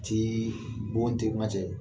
Tii bɔn tɛ ŋa cɛ